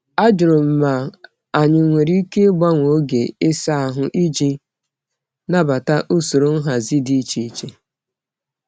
Ajụrụ m ma anyị nwere ike ịgbanwe oge ịsa ahụ iji nabata usoro nhazi dị iche iche.